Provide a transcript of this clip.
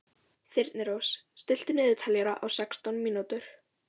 Þyrnirós, stilltu niðurteljara á sextán mínútur.